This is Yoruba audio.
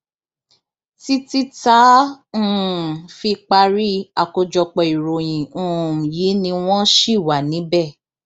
títí tá a um fi parí àkójọpọ ìròyìn um yìí ni wọn ṣì wà níbẹ